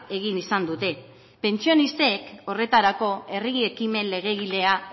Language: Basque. egin izan dute pentsionistek horretarako herri ekimen legegilea